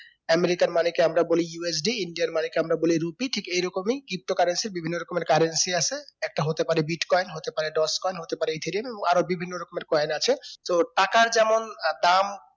america র money কে আমরা বলি USDindia র money কে আমরা বলি rupee ঠিক এই রকমই pto currency বিভিন্ন রকমের currency আছে একটা হতে পারে bitcoin একটা হতে পারে coin হতে পারে ethylene আরো বিভিন্ন রকমের coin আছে তো টাকার যেমন আহ দাম